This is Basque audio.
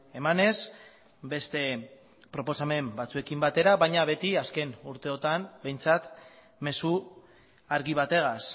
emanez beste proposamen batzuekin batera baina beti azken urteotan behintzat mezu argi bategaz